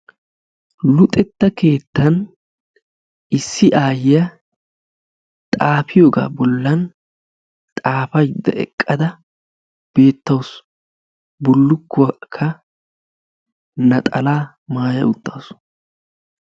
Luxxetta keettan issi aayiyaa xaafiyoogaa bollan xaafaydda eqqada beetawusu. bullukuwaakka naxalaa maayaa utaasu.